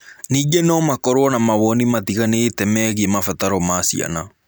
Ningĩ no makorũo na mawoni matiganĩte megiĩ mabataro ma ciana.